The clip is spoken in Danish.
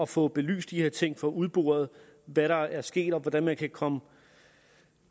få belyst de her ting og få udboret hvad der er sket og hvordan man fremadrettet kan komme